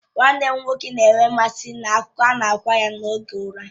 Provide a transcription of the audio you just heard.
Nwanne m nwoke na-enwe mmasị n'akụkọ na-agwa ya n'oge ụra.